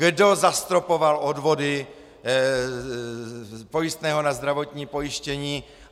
Kdo zastropoval odvody pojistného na zdravotní pojištění?